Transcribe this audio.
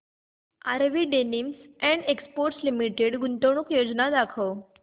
RV denims and exports limited गुंतवणूक योजना दाखव